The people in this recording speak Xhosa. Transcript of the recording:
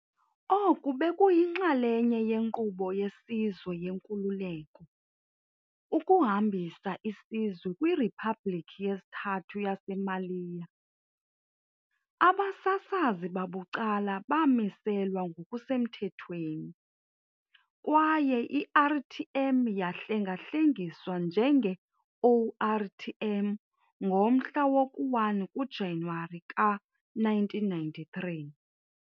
Oku bekuyinxalenye yenkqubo yesizwe yenkululeko, ukuhambisa isizwe kwi "Riphabhlikhi yesiThathu yaseMaliya". Abasasazi babucala bamiselwa ngokusemthethweni, kwaye i-RTM yahlengahlengiswa njenge-ORTM ngomhla woku-1 kuJanuwari ka-1993.